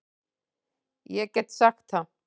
Ég get sagt það.